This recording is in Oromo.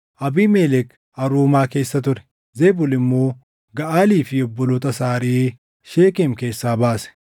Abiimelek Aruumaa keessa ture; Zebul immoo Gaʼaalii fi obboloota isaa ariʼee Sheekem keessaa baase.